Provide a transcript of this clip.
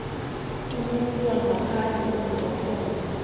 kumuntu wangaphandle onamakhono